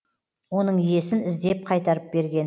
оның иесін іздеп қайтарып берген